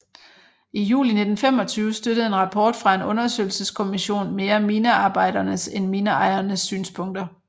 I juli 1925 støttede en rapport fra en undersøgelseskommission mere minearbejdernes end mineejernes synspunkter